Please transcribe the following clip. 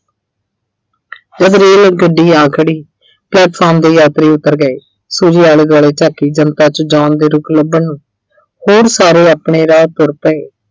ਤਦ ਰੇਲਗੱਡੀ ਆ ਖੜੀ ਤਦ ਦੇ ਯਾਤਰੀ ਉੱਤਰ ਗਏ Suji ਆਲੇ-ਦੁਆਲੇ ਝਾਕੀ, ਜਨਤਾ 'ਚ John ਦੇ ਰੁਕ ਲੱਭਣ ਨੂੰ। ਹੋਰ ਸਾਰੇ ਆਪਣੇ ਰਾਹ ਤੁਰ ਪਏ।